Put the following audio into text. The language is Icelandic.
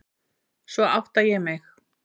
Svo átta ég mig.